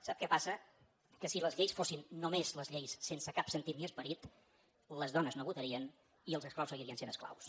sap què passa que si les lleis fossin només les lleis sense cap sentit ni esperit les dones no votarien i els esclaus seguirien sent esclaus